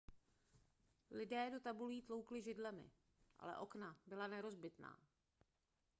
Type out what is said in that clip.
lidé do tabulí tloukli židlemi ale okna byla nerozbitná